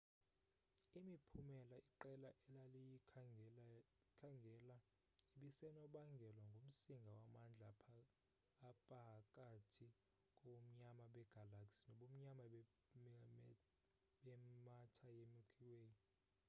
imiphumela iqela elaliyikhangela ibisenobangelwa ngumsinga wamandla apahakathi kobumnyama begalaxy nobumnyama be matter ye milky way